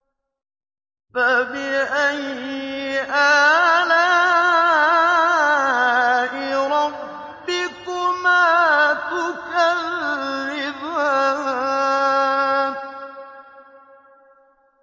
فَبِأَيِّ آلَاءِ رَبِّكُمَا تُكَذِّبَانِ